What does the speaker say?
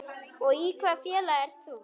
Og í hvaða félagi ert þú?